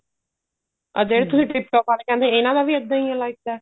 ਆ ਜਿਹੜੇ ਤੁਸੀਂ tip top ਆਲੇ ਕਹਿੰਦੇ ਹੋ ਇਹਨਾ ਦਾ ਵੀ ਏਧਾ ਹੀ ਐ like that